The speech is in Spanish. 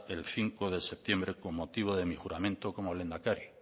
el cinco de septiembre con motivo de mi juramente como lehendakari